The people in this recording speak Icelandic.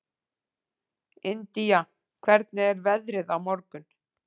Indía, hvernig er veðrið á morgun?